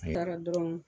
Taara dɔrɔn